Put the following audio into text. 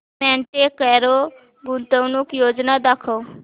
Monte Carlo गुंतवणूक योजना दाखव